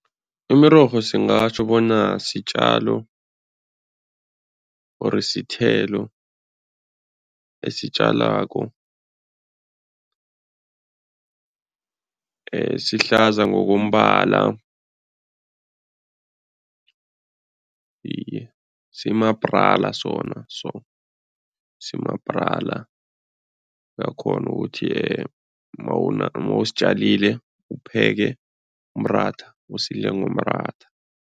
Imirorho singatjho bona sitjalo or sithelo esitjalwako, sihlaza ngokombala, iye, simabrala sona so, simabrala, uyakghona ukuthi mawusitjalile upheke umratha, usidle ngomratha.